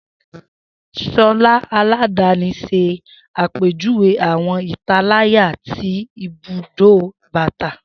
Shola aladani ṣe apejuwe awọn italaya ti ibudó bata.